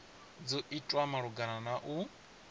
dzo itwa malugana na u